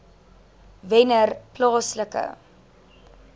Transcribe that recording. wennerplaaslike